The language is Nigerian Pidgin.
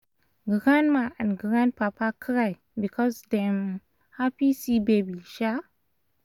grandma and grandpapa cry because dem happy see baby um